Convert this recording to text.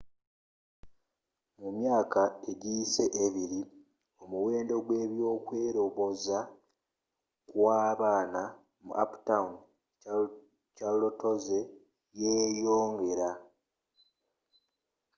mu myaaka egiyise abiri omuwendo gw'ebyokweloboza kwa baana mu uptown charlotteezze yeeyongera